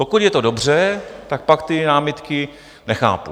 Pokud je to dobře, tak pak ty námitky nechápu.